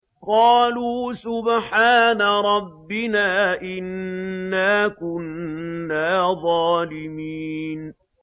قَالُوا سُبْحَانَ رَبِّنَا إِنَّا كُنَّا ظَالِمِينَ